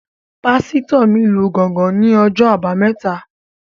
Pásítọ̀ mi lu gángan ní ọjọ́ àbámẹ́ta